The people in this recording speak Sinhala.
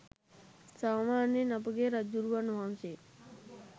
සාමාන්‍යයෙන් අපගේ රජ්ජුරුවන් වහන්සේ